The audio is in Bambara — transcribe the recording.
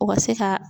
U ka se ka